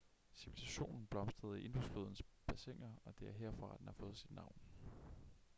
civilisationen blomstrede i indus-flodens bassiner og det er herfra den har fået sit navn